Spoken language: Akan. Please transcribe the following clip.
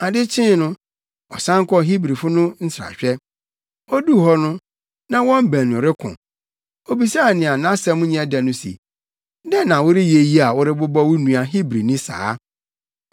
Ade kyee no, ɔsan kɔɔ Hebrifo no nsrahwɛ. Oduu hɔ no, na wɔn mu baanu reko. Obisaa nea nʼasɛm nyɛ dɛ no se, “Dɛn na woreyɛ yi a worebobɔ wo nua Hebrini saa?”